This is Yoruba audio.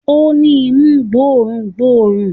Ó ni imú gbó òórùn gbóòórùn